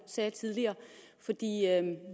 sagde tidligere